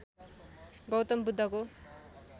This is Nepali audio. गौतम बुद्धको